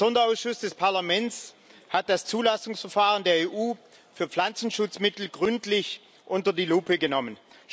Der Sonderausschuss des Parlaments hat das Zulassungsverfahren der EU für Pflanzenschutzmittel gründlich unter die Lupe genommen.